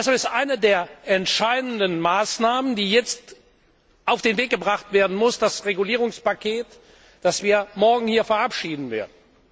Deshalb ist eine der entscheidenden Maßnahmen, die jetzt auf den Weg gebracht werden muss, das Regulierungspaket, das wir morgen hier verabschieden werden.